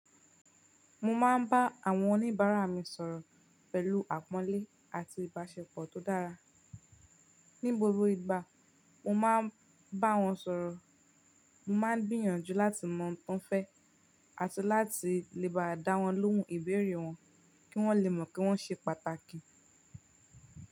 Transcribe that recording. Mo máa ń bá àwọn oníbàárà mi sọ̀rọ̀ pẹ̀lú àpọ́nlé àti ìbáṣepọ̀ tó dára. Ní gbogbo ìgbà mo máa ń bá wọn sọ̀rọ̀, mo máa ń gbìyànjú láti mọ ohun tó ń fẹ́ àti láti lè bá dá wọn lóhùn ìbéèrè wọn kí wọ́n lè mọ̀ pé wọ́n ṣe pàtàkì.